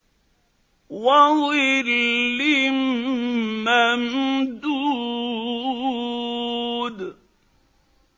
وَظِلٍّ مَّمْدُودٍ